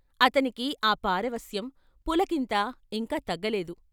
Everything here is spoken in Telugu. ఆతనికి ఆ పారవశ్యం, పులకింత ఇంకా తగ్గలేదు.